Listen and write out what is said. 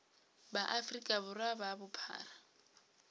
ba afrika borwa ka bophara